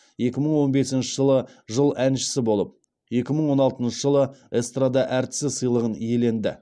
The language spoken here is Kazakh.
екі мың он бесінші жылы жыл әншісі болып екі мың он алтыншы жылы эстрада әртісі сыйлығын иеленді